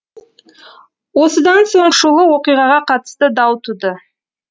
осыдан соң шулы оқиғаға қатысты дау туды